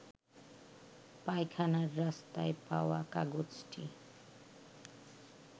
পায়খানার রাস্তায় পাওয়া কাগজটি